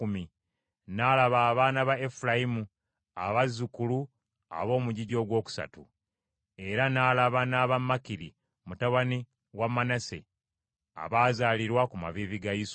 N’alaba abaana ba Efulayimu, abazzukulu ab’omugigi ogwokusatu. Era n’alaba n’aba Makiri mutabani wa Manase abaazaalirwa ku maviivi ga Yusufu.